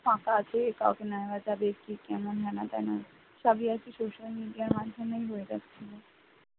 ফাঁকা আছে কি কাউকে নেওয়া যাবে কি কেমন হেনা তেনা সবই আরকি social media র মাধ্যমে হয়ে যাচ্ছে